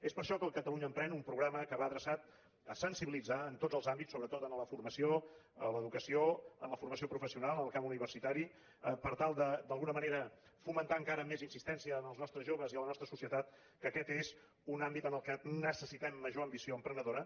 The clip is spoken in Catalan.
és per això que el catalunya emprèn un programa que va adreçat a sensibilitzar en tots els àmbits sobretot en la formació en l’educació en la formació professional en el camp universitari per tal de d’alguna manera fomentar encara amb més insistència entre els nostres joves i la nostra societat que aquest és un àmbit en què necessitem major ambició emprenedora